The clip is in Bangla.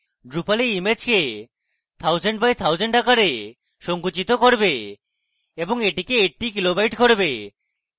drupal এই ইমেজকে 1000 by 1000 আকারে সঙ্কুচিত করবে এবং এটিকে 80 কিলোবাইট করবে